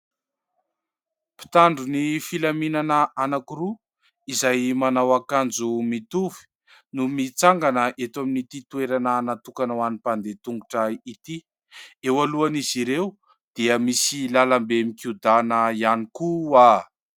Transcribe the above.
Mpitandro ny filaminana anankiroa, izay manao akanjo mitovy no mitsangana eto amin'ity toerana natokana ho any mpandeha an- tongotra ity, eo alohan'izy ireo dia misy lalambe mikodana ihany koa.